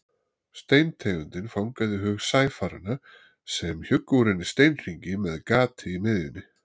Steintegundin fangaði hug sæfaranna sem hjuggu úr henni steinhringi með gati í miðjunni.